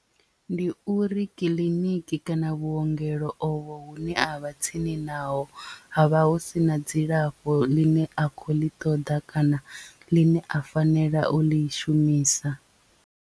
Ndi uri kiḽiniki kana vhuongelo ovho hune a vha tsini naho ha vha hu sina dzilafho ḽine a kho ḽi ṱoḓa kana ḽine a fanela u li shumisa.